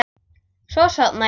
Svo sofnaði ég.